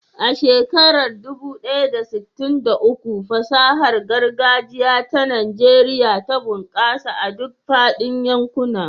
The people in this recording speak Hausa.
A shekarar dubu ɗaya da sittin da uku, fasahar gargajiya ta Najeriya ta bunƙasa a duk faɗin yankuna.